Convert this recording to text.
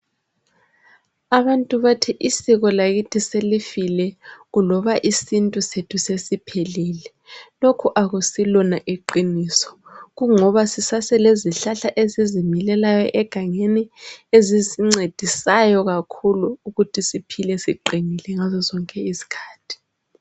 Abantu bathi usiko lwakithi selufile loba isintu sethu sesiphelile lokhu akusilona iqiniso kungoba kulezihlahla esizimilelayo egangeni ezisingcedisayo kakhulu ukuthi siphile siqinile ngaso sonke isikhathi